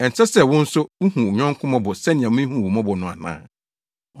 ɛnsɛ wo sɛ wo nso wuhu wo yɔnko mmɔbɔ sɛnea mihuu wo mmɔbɔ no ana?’